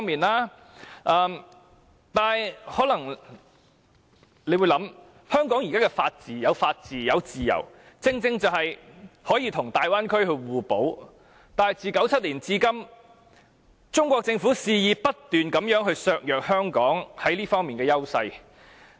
不過，大家可能會考慮，香港現在有法治及自由，正正可與大灣區互補，但自1997年至今，中國政府卻不斷肆意削弱香港在這些方面的優勢。